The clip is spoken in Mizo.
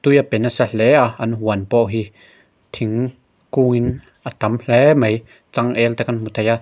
tui a pe nasa hle a an huan pawh hi thing kungin a tam hle mai changel te kan hmu thei a.